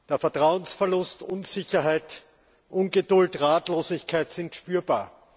Der Vertrauensverlust, Unsicherheit, Ungeduld und Ratlosigkeit sind spürbar.